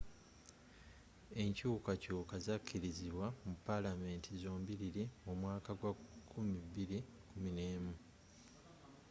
enkyukakyuka zakkirizibwa mu palamenti zombiriri mu mwaka gwa 2011